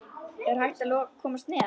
Er hægt að komast neðar?